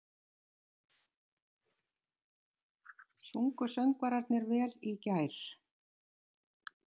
Sungu söngvararnir vel í gær?